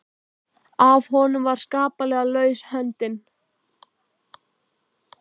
Að honum var afskaplega laus höndin.